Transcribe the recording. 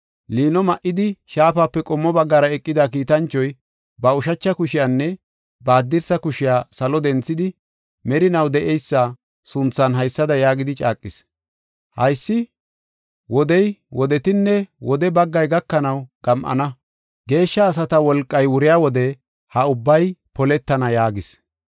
Liino ma7idi, shaafape qommo baggara eqida kiitanchoy, ba ushacha kushiyanne ba haddirsa kushiya salo denthidi, merinaw de7eysa sunthan haysada yaagidi caaqis: “Haysi, wodey, wodetinne wode baggay gakanaw gam7ana; geeshsha asata wolqay wuriya wode ha ubbay poletana” yaagis.